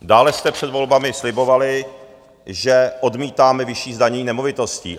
Dále jste před volbami slibovali, že "odmítáme vyšší zdanění nemovitostí".